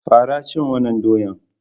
Fara cin wannan doyan!